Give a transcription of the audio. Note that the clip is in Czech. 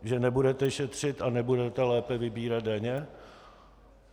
Že nebudete šetřit a nebudete lépe vybírat daně?